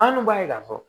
An dun b'a ye k'a fɔ